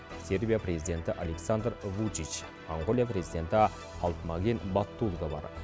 сербия президенті александр вучич моңғолия президенті халтмаагийн баттулга бар